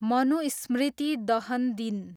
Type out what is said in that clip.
मनुस्मृति दहन दिन